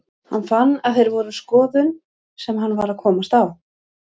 Hann fann að þeir voru skoðun sem hann var að komast á.